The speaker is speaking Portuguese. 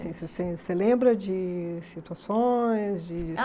Assim se você, Você lembra de situações? De